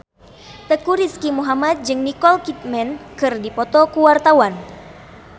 Teuku Rizky Muhammad jeung Nicole Kidman keur dipoto ku wartawan